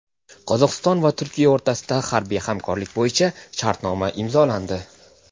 Qozog‘iston va Turkiya o‘rtasida harbiy hamkorlik bo‘yicha shartnoma imzolandi.